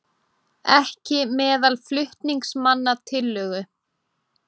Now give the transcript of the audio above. Ekki meðal flutningsmanna tillögu